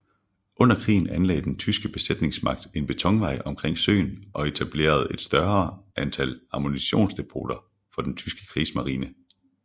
Under krigen anlagde den tyske besættelsesmagt en betonvej omkring søen og etableret et større antal ammunitionsdepoter for den tyske krigsmarine